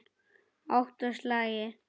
Átta slagir.